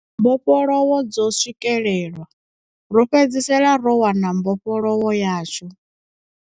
mbofholowo dzo swikelelwa, ro fhedzisela ro wana mbofholowo yashu.